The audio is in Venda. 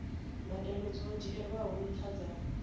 mbadelo dzo dzhielwaho nṱha dza